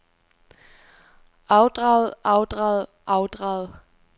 afdraget afdraget afdraget